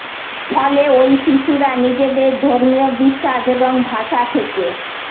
ফলে ওই শিশুরা নিজেদের ধর্মীয় বিশ্বাস এবং ভাষা থেকে